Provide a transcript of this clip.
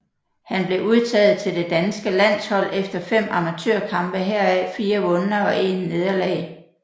Han blev udtaget til det danske landshold efter 5 amatørkampe heraf 4 vunde og 1 nederlag